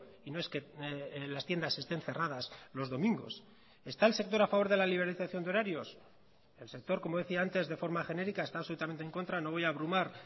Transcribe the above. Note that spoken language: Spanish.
y no es que las tiendas estén cerradas los domingos está el sector a favor de la liberalización de horarios el sector como decía antes de forma genérica está absolutamente en contra no voy a abrumar